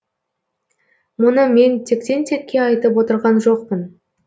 мұны мен тектен текке айтып отырған жоқпын